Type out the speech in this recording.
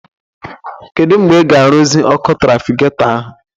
Kedụ mgbe ị ga aruzi ọkụ trafikato ahụ?